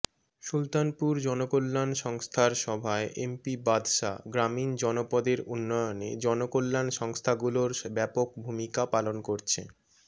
সুলতানপুর জনকল্যাণ সংস্থার সভায় এমপি বাদশা গ্রামীণ জনপদের উন্নয়নে জনকল্যান সংস্থাগুলোর ব্যাপক ভূমিকা পালন করছে